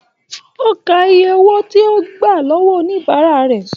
O ká ìyè owó tí o gbà lọwọ oníbárà rẹ.